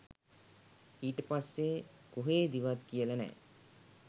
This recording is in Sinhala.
ඊට පස්සේ කොහේදිවත් කියලා නෑ